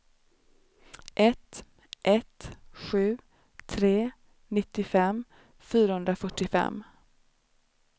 ett ett sju tre nittiofem fyrahundrafyrtiofem